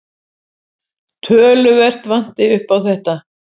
Töluvert vanti upp á þetta.